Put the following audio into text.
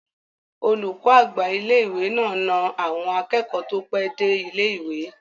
Olùkọ́ àgbà ilé-ìwé náà na àwọn akẹ́kọ̀ọ́ tó pẹ́ dé ilé-ìwé